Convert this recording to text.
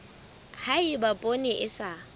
ha eba poone e sa